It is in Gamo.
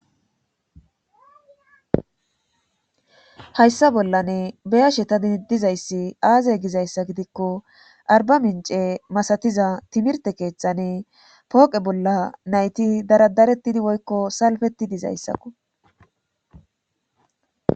Hayssa bollanne beyashe ta diidizayssi aazey gizayssa gidikko arba mince masatiza timirte keexane pooqe bolla nayti daradarettidi woykko salfetti dizayssakko